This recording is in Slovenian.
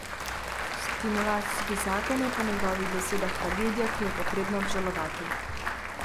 Stimulacijski zakon je po njegovih besedah tragedija, ki jo je potrebno obžalovati.